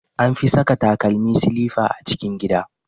An fi saka takalmi silifa a cikin gida.